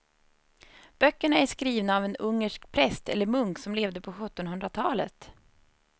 Böckerna är skrivna av en ungersk präst eller munk som levde på sjuttonhundratalet.